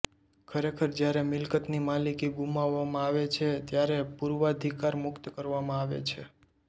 ખરેખર જ્યારે મિલકતની માલિકી ગુમાવવામાં આવે છે ત્યારે પૂર્વાધિકાર મુક્ત કરવામાં આવે છે